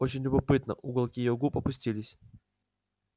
очень любопытно уголки её губ опустились